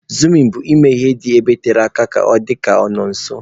Izumu bụ ime ihe dị ebe tere aka ka ọ dịka ọ nọ nso.